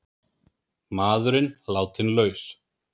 Maðurinn látinn laus